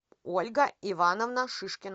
ольга ивановна шишкина